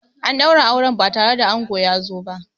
An daura auren ba tare da ango ya zo ba.